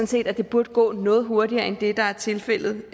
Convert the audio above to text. set at det burde gå noget hurtigere end det der er tilfældet